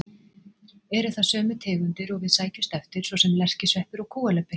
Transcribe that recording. Eru það sömu tegundir og við sækjumst eftir, svo sem lerkisveppur og kúalubbi.